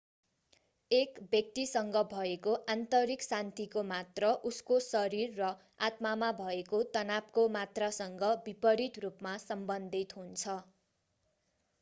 एक व्यक्तिसँग भएको आन्तरिक शान्तिको मात्रा उसको शरीर र आत्मामा भएको तनावको मात्रासँग विपरित रूपमा सम्बन्धित हुन्छ